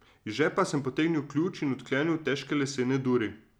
Iz žepa sem potegnil ključ in odklenil težke lesene duri.